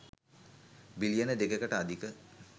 බිලියන 2 කට අධික